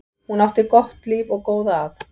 Hún átti gott líf og góða að.